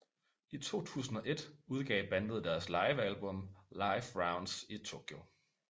I 2001 udgav bandet deres live album Live Rounds In Tokyo